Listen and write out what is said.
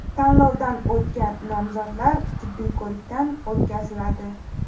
Tanlovdan o‘tgan nomzodlar tibbiy ko‘rikdan o‘tkaziladi.